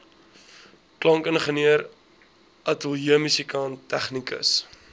klankingenieur ateljeemusikant tegnikus